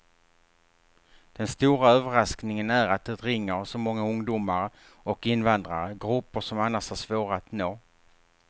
Den stora överraskningen är att det ringer så många ungdomar och invandrare, grupper som annars är svåra att nå.